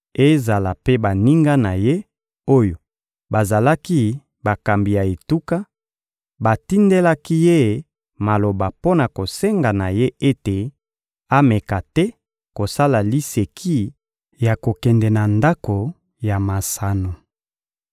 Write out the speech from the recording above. Ezala mpe baninga na ye, oyo bazalaki bakambi ya etuka, batindelaki ye maloba mpo na kosenga na ye ete ameka te kosala liseki ya kokende na ndako ya masano.